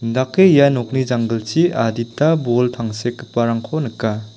indake ia nokni janggilchi adita bol tangsekgiparangko nika.